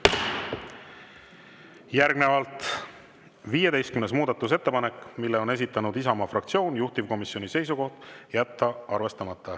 Järgnevalt 15. muudatusettepanek, mille on esitanud Isamaa fraktsioon, juhtivkomisjoni seisukoht: jätta arvestamata.